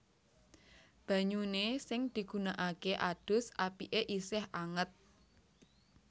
Banyune sing digunakake adus apike isih anget